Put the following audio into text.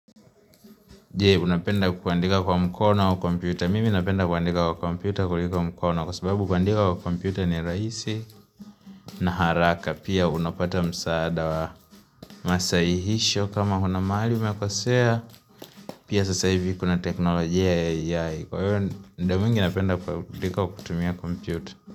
Je, unapenda kuandika kwa mkona au komputa? Mimi napenda kuandika kwa komputa kulika mkono kwa sababu kuandika kwa kompyuta ni rahisi na haraka. Pia unapata msaada wa masahihisho kama kuna mahali umekosea. Pia sasa hivi kuna teknolojia ya AI. Kwa hivyo, ndo mwingi napenda kuandika kwa kutumia kompyuta.